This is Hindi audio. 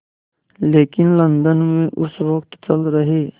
लेकिन लंदन में उस वक़्त चल रहे